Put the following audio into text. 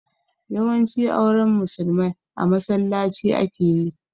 Yawanci auren musulmai a masallaci ake yi